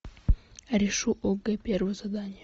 решу огэ первое задание